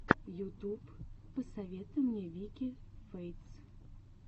ютуб посоветуй мне вики фэйтс